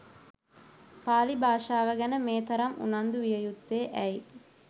පාලි භාෂාව ගැන මේ තරම් උනන්දු විය යුත්තේ ඇයි?